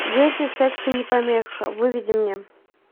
дети сексу не помеха выведи мне